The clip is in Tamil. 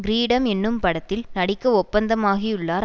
கிரீடம் என்னும் படத்தில் நடிக்க ஒப்பந்தமாகியுள்ளார்